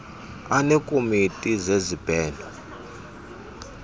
aneekomiti zezib heno